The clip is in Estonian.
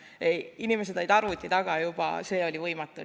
Juba see, et inimesed olid arvuti taga, tegi selle võimatuks.